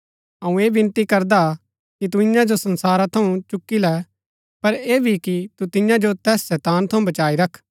अऊँ ऐह विनती करदा हा कि तू ईयां जो संसारा थऊँ चूकी लै पर ऐह भी कि तू तियां जो तैस शैतान थऊँ बचाई रख